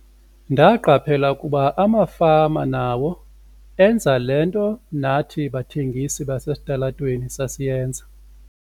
"Ndaqaphela ukuba amafama nawo enza le nto nathi bathengisi basesitalatweni sasiyenza."